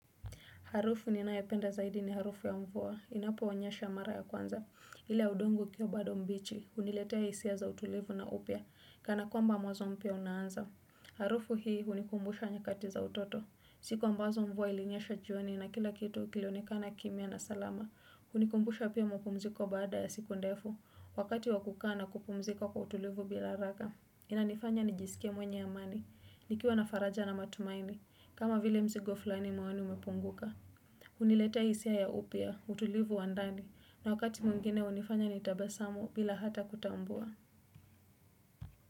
Harufu ninayoipenda zaidi ni harufu ya mvua. Inaponyesha mara ya kwanza. Ile ya udongo ukiwa bado mbichi. Huniletea hisia za utulivu na upia. Kana kwamba mwanzo mpya unaanza. Harufu hii hunikumbusha nyakati za utoto. Siku ambazo mvua ilinyesha jioni na kila kitu kilionekana kimya na salama. Hunikumbusha pia mapumziko baada ya siku ndefu. Wakati wakukaa na kupumzika kwa utulivu bila haraka. Inanifanya nijisikie mwenye amani. Nikiwa na faraja na matumaini. Kama vile mzigo fulani mawani umepunguka hunileta hisia ya upya, utulivu wa ndani na wakati mwingine hunifanya ni tabasamu bila hata kutambua.